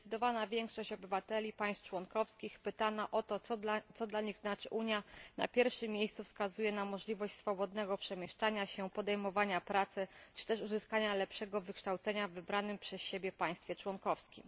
Zdecydowana większość obywateli państw członkowskich pytana o to, co dla nich znaczy Unia, na pierwszym miejscu wskazuje możliwość swobodnego przemieszczania się, podejmowania pracy czy też uzyskania lepszego wykształcenia w wybranym przez siebie państwie członkowskim.